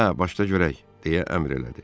Hə, başla görək deyə əmr elədi.